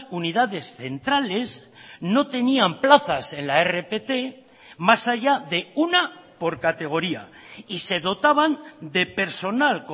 unidades centrales no tenían plazas en la rpt más allá de una por categoría y se dotaban de personal